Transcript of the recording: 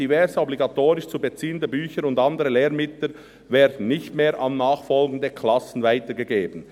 Diverse obligatorisch zu beziehende Bücher und andere Lehrmittel werden nicht mehr an nachfolgende Klassen weitergegeben.